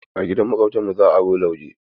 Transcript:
A gidan Maƙwabtanmu za aro lauje.